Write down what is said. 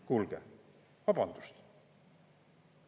Kuulge, vabandust!